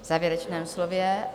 V závěrečném slově.